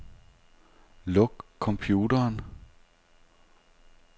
Luk computeren.